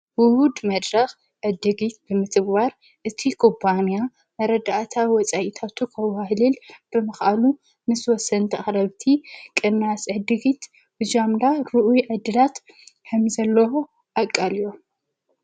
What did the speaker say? ብሁድ መድረኽ ዕድጊት ብምጥብዋር እቱ ቁጳንያ ኣረድኣታ ወፃይታቱ ኸውሃህሊል ብምቓኑ ምስ ወሰንቲ ኣኽረብቲ ቕናስ ዕድጊት ብዛምላ ርዑ ዕድላት ሕም ዘለሆ ኣቃልእዮም።